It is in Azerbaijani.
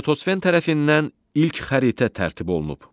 Eratosfen tərəfindən ilk xəritə tərtib olunub.